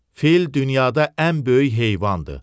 Fil dünyada ən böyük heyvandır.